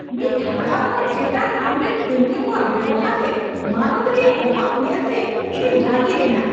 ᱢᱤᱫ ᱦᱟᱲᱟᱢ ᱦᱚᱲ ᱪᱮᱛᱟᱱ ᱟᱢᱨᱮᱱ ᱠᱟᱹᱢᱤᱭᱟᱹ ᱠᱚᱣᱟᱜ ᱵᱮᱣᱦᱟᱨ ᱨᱮ ᱢᱟᱱᱚᱛ ᱨᱮᱭᱟᱜ ᱚᱵᱷᱟᱵᱽ ᱧᱮᱞᱛᱮ ᱤᱧᱤᱧ ᱨᱟᱹᱜᱤ ᱞᱮᱱᱟ ᱾